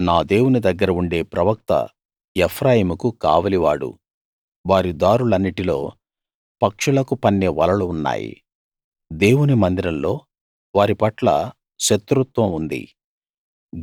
నా దేవుని దగ్గర ఉండే ప్రవక్త ఎఫ్రాయిముకు కావలివాడు వారి దారులన్నిటిలో పక్షులకు పన్నే వలలు ఉన్నాయి దేవుని మందిరంలో వారి పట్ల శత్రుత్వం ఉంది